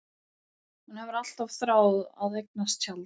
Hún hefur alltaf þráð að eignast tjald.